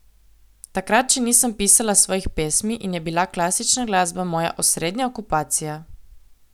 Takrat še nisem pisala svojih pesmi in je bila klasična glasba moja osrednja okupacija.